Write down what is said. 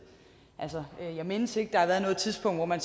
altså jeg mindes ikke at der har været noget tidspunkt hvor man